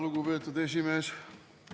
Lugupeetud esimees!